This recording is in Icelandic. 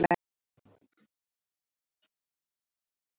þar stoppaði hann stutt